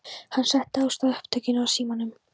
Hann setti á stað upptökutæki á símanum.